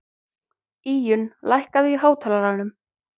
Íunn, lækkaðu í hátalaranum.